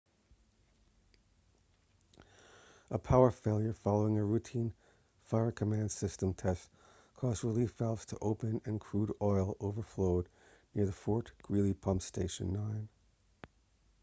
a power failure following a routine fire-command system test caused relief valves to open and crude oil overflowed near the fort greely pump station 9